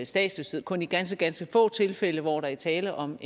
statsløshed kun i ganske ganske få tilfælde hvor der er tale om